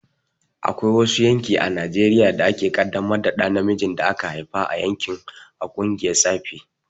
Akwai wasu yanki a Najeriya da ake kaddamar da ɗa namijin da aka haifa a yankin a ƙungiyar tsafi.